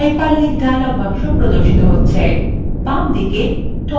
hyperlink dialog box প্রদর্শিত হচ্ছে